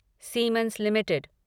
siemens limited